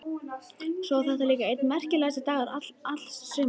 Svo var þetta líka einn merkasti dagur alls sumarsins.